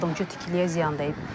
Yardımçı tikiliyə ziyan dəyib.